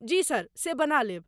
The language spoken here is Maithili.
जी सर, से बना लेब ।